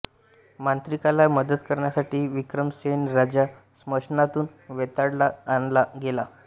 मांत्रिकाला मदत करण्यासाठी विक्रमसेन राजा स्मशानातून वेताळाला आणायला गेला